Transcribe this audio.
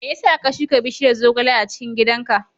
Me yasa ka shuka bishiyar zogale a cikin gidan ka?